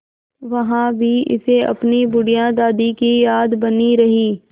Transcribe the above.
वहाँ भी इसे अपनी बुढ़िया दादी की याद बनी रही